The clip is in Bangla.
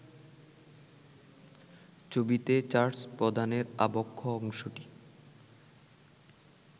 ছবিতে চার্চ প্রধানের আবক্ষ অংশটি